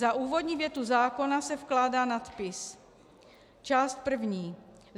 Za úvodní větu zákona se vkládá nadpis: Část první.